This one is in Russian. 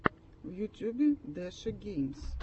в ютюбе дэши геймс